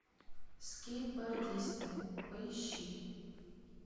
скейтбордисты поищи